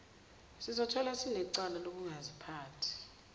sizotholwa sinecala lokungaziphathi